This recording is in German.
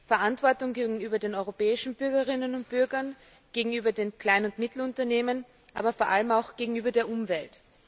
Verantwortung gegenüber den europäischen Bürgerinnen und Bürgern, gegenüber den kleinen und mittleren Unternehmen, aber vor allem auch gegenüber der Umwelt.